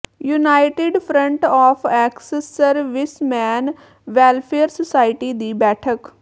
United front of ex serviceman welfare society ਦੀ ਬੈਠਕ